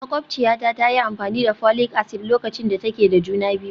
Makwabciyata ta yi amfani da folic acid lokacin da take da juna biyu